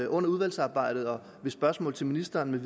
under udvalgsarbejdet og ved spørgsmål til ministeren